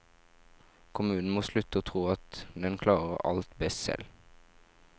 Kommunen må slutte å tro at den klarer alt best selv.